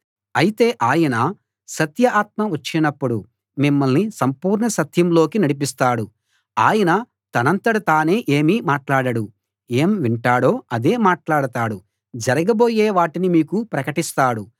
అయితే ఆయన సత్య ఆత్మ వచ్చినప్పుడు మిమ్మల్ని సంపూర్ణ సత్యంలోకి నడిపిస్తాడు ఆయన తనంతట తానే ఏమీ మాట్లాడడు ఏం వింటాడో అదే మాట్లాడతాడు జరగబోయే వాటిని మీకు ప్రకటిస్తాడు